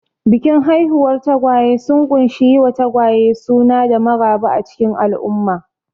Bikin haihuwar tagwaye sun ƙunshi yi wa tagwaye suna da maraba a cikin al'umma.